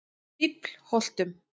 Fíflholtum